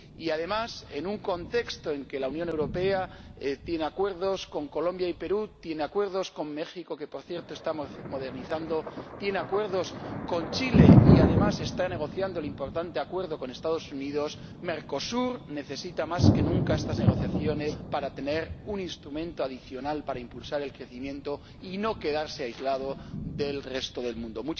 Además, en un contexto en que la Unión Europea tiene acuerdos con Colombia y Perú, tiene acuerdos con México —que, por cierto, está modernizando—, tiene acuerdos con Chile y, además, está negociando el importante acuerdo con los Estados Unidos, Mercosur necesita más que nunca estas negociaciones para tener un instrumento adicional para impulsar el crecimiento y no quedarse aislado del resto del mundo.